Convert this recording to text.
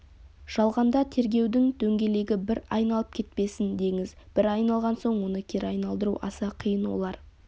жалғанда тергеудің дөңгелегі бір айналып кетпесін деңіз бір айналған соң оны кері айналдыру аса қиын олар